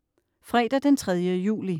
Fredag den 3. juli